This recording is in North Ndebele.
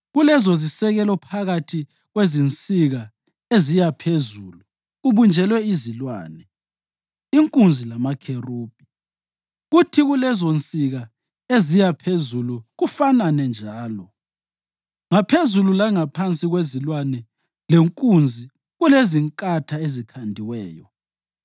Kulezozisekelo phakathi kwezinsika eziya phezulu kubunjelwe izilwane, inkunzi lamakherubhi, kuthi kulezonsika eziya phezulu kufanane njalo. Ngaphezulu langaphansi kwezilwane lenkunzi kulezinkatha ezikhandiweyo.